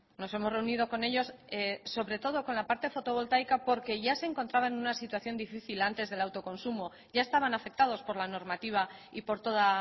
nos hemos reunido con ellos sobre todo con la parte fotovoltaica porque ya se encontraba en una situación difícil antes del autoconsumo ya estaban afectados por la normativa y por toda